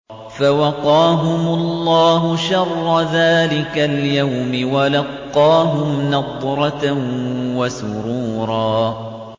فَوَقَاهُمُ اللَّهُ شَرَّ ذَٰلِكَ الْيَوْمِ وَلَقَّاهُمْ نَضْرَةً وَسُرُورًا